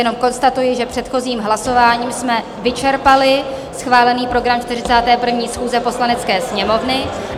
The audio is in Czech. Jenom konstatuji, že předchozím hlasováním jsme vyčerpali schválený program 41. schůze Poslanecké sněmovny.